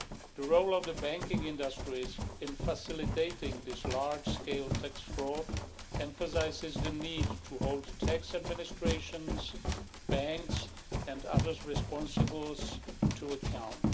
The role of the banking industry in facilitating this large scale tax fraud emphasises the need to hold tax administrations, banks and others responsible to account.